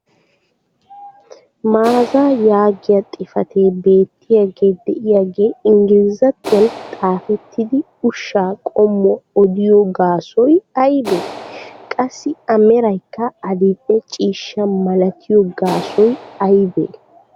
maazaa yaagiya xifatee beetiyaage diyaagee ingglizzattuwan xaafettidi ushshaa qommuwa oddiyo gaassoy aybee? qassi a meraykka adil'e ciishsha malattiyo gaasoy aybee?